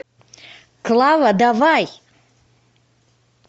клава давай